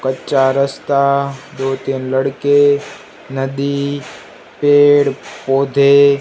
कच्चा रास्ता दो तीन लड़के नदी पेड़ पौधे--